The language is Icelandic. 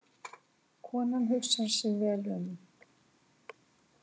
Konan hugsar sig vel um.